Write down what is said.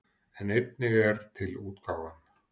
En einnig er til útgáfan